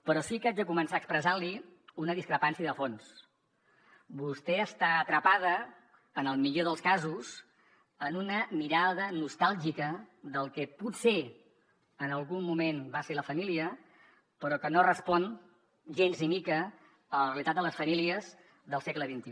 però sí que haig de començar expressant li una discrepància de fons vostè està atrapada en el millor dels casos en una mirada nostàlgica del que potser en algun moment va ser la família però que no respon gens ni mica a la realitat de les famílies del segle xxi